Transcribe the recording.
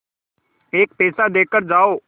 एक पैसा देकर जाओ